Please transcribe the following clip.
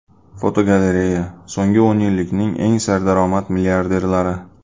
Fotogalereya: So‘nggi o‘n yillikning eng serdaromad milliarderlari.